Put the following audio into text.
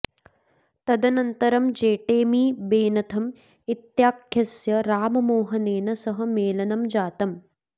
तदनन्तरं Jeremy Bentham इत्याख्यस्य राममोहनेन सह मेलनं जातम्